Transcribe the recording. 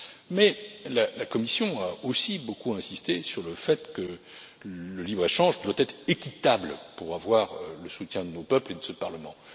Mais la Commission a aussi beaucoup insisté sur le fait que le libre échange doit être équitable pour avoir le soutien de nos peuples et de ce Parlement.